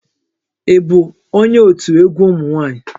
Ị bụ onye òtù egwu ụmụ nwa+nyị?